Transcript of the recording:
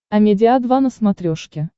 амедиа два на смотрешке